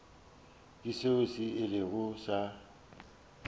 ke seo se ilego sa